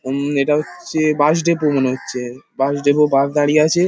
ওম এটা হচ্ছে bus depot মনে হচ্ছে। বাস ডেপো বাস দাঁড়িয়ে আছে।